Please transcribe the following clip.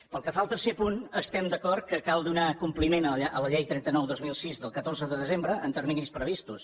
pel que fa al tercer punt estem d’acord que cal donar compliment a la llei trenta nou dos mil sis del catorze de desembre en terminis previstos